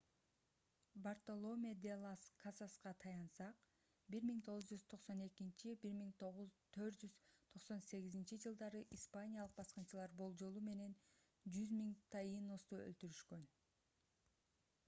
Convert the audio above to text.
бартоломе́ де лас касаска tratado de las indias таянсак 1492–1498-жылдары испаниялык баскынчылар болжолу менен 100 000 таиносту өлтүрүшкөн